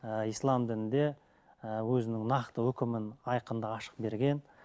ііі ислам дінінде і өзінің нақты өкімін айқын да ашық берген